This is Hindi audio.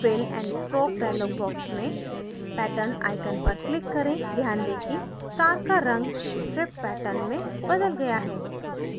fill and stroke dialog box में pattern icon पर click करें ध्यान दें कि star का in stripe pattern में बदल गया है